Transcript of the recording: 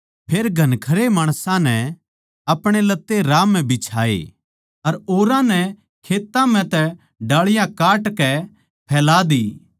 फेर घणखरया माणसां नै आपणे लत्ते राह म्ह बिछाये अर औरां नै खेत्तां म्ह तै डालियाँ काटकै फैला दी